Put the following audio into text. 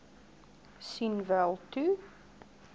sien wel toe